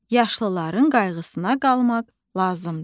Yaşlıların qayğısına qalmaq lazımdır.